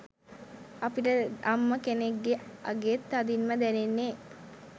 අපිට අම්ම කෙනෙක්ගෙ අගේ තදින්ම දැනෙන්නෙ